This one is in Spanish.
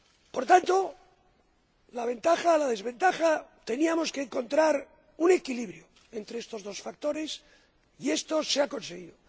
Por tanto, ante la ventaja y la desventaja, teníamos que encontrar un equilibrio entre estos dos factores y esto se ha conseguido.